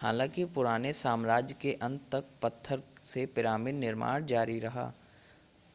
हालांकि पुराने साम्राज्य के अंत तक पत्थर से पिरामिड निर्माण जारी रहा